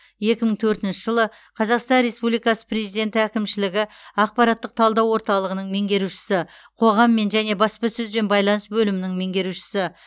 екі мың төртінші жылы қазақстан республикасы президенті әкімшілігі ақпараттық талдау орталығының меңгерушісі қоғаммен және баспасөзбен байланыс бөлімінің меңгерушісі